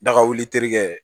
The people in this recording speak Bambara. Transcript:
Daga wuli terikɛ